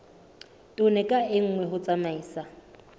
tone ka nngwe ho tsamaisa